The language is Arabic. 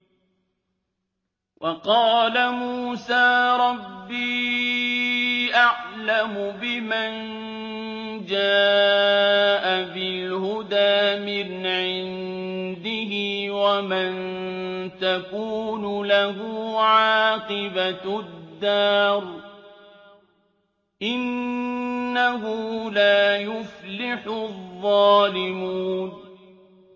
وَقَالَ مُوسَىٰ رَبِّي أَعْلَمُ بِمَن جَاءَ بِالْهُدَىٰ مِنْ عِندِهِ وَمَن تَكُونُ لَهُ عَاقِبَةُ الدَّارِ ۖ إِنَّهُ لَا يُفْلِحُ الظَّالِمُونَ